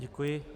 Děkuji.